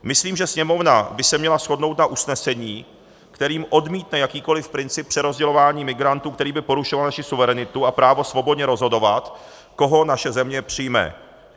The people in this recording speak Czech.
Myslím, že Sněmovna by se měla shodnout na usnesení, kterým odmítne jakýkoli princip přerozdělování migrantů, který by porušoval naši suverenitu a právo svobodně rozhodovat, koho naše země přijme.